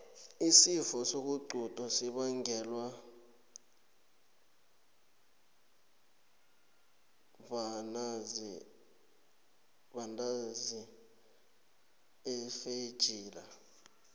isifo sokuxhudo sibongelwa bnanzi afeljila